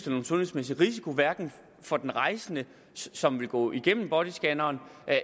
nogle sundhedsmæssige risici hverken for den rejsende som vil gå igennem bodyscanneren